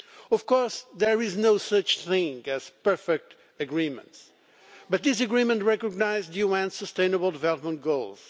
Of course, there is no such thing as a perfect agreement, but this agreement recognises the UN Sustainable Development Goals.